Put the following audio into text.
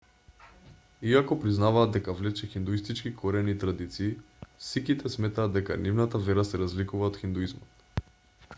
иако признаваат дека влече хиндуистички корени и традиции сиките сметаат дека нивната вера се разликува од хиндуизмот